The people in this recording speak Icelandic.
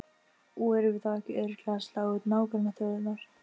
Og erum við þá ekki örugglega að slá út nágrannaþjóðirnar?